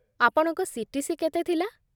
ଆପଣଙ୍କ ସି.ଟି.ସି. କେତେ ଥିଲା?